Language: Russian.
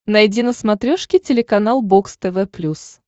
найди на смотрешке телеканал бокс тв плюс